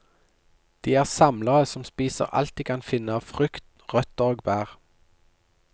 De er samlere som spiser alt de kan finne av frukt, røtter og bær.